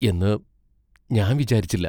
എന്നു ഞാൻ വിചാരിച്ചില്ല.